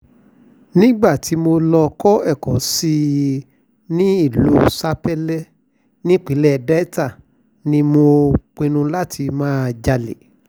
nígbà tí mo lọ́ọ́ kọ́ ẹ̀kọ́ sí i nílùú spele nípínlẹ̀ delta ni mo pínnu láti máa jalè